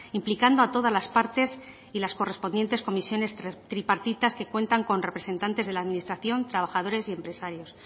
implicando a todas las partes y las correspondientes comisiones tripartitas que cuentan con representantes de la administración trabajadores y empresarios